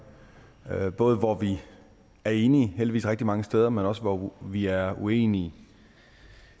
både hvor vi er enige heldigvis rigtig mange steder men også hvor vi er uenige